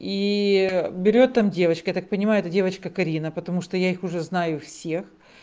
и берет там девочка я так понимаю эта девочка карина потому что я их уже знаю всех